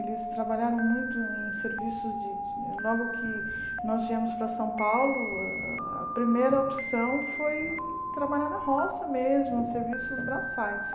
Eles trabalharam muito em serviços de de... Logo que nós viemos para São Paulo, ah a primeira opção foi trabalhar na roça mesmo, serviços braçais.